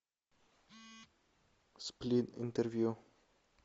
сплин интервью